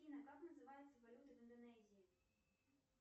афина как называется валюта в индонезии